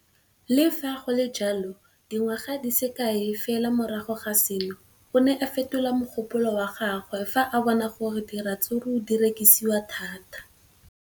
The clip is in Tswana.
Le fa go le jalo, dingwaga di se kae fela morago ga seno, o ne a fetola mogopolo wa gagwe fa a bona gore diratsuru di rekisiwa thata.